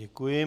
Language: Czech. Děkuji.